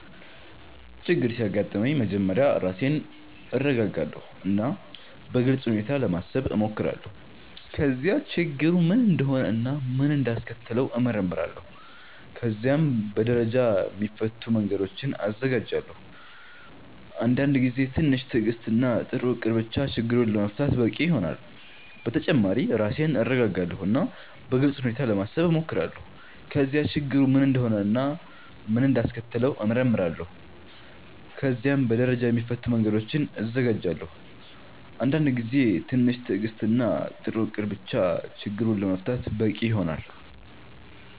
ችግር ሲያጋጥመኝ መጀመሪያ ራሴን እረጋጋለሁ እና በግልጽ ሁኔታ ለማሰብ እሞክራለሁ። ከዚያ ችግሩ ምን እንደሆነ እና ምን እንዳስከተለው እመረምራለሁ። ከዚያም በደረጃ የሚፈቱ መንገዶችን እዘጋጃለሁ። አንዳንድ ጊዜ ትንሽ ትዕግስት እና ጥሩ እቅድ ብቻ ችግሩን ለመፍታት በቂ ይሆናል። በተጨማሪ ራሴን እረጋጋለሁ እና በግልጽ ሁኔታ ለማሰብ እሞክራለሁ። ከዚያ ችግሩ ምን እንደሆነ እና ምን እንዳስከተለው እመረምራለሁ። ከዚያም በደረጃ የሚፈቱ መንገዶችን እዘጋጃለሁ። አንዳንድ ጊዜ ትንሽ ትዕግስት እና ጥሩ እቅድ ብቻ ችግሩን ለመፍታት በቂ ይሆናል።